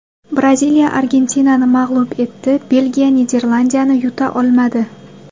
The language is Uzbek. Braziliya Argentinani mag‘lub etdi, Belgiya Niderlandiyani yuta olmadi .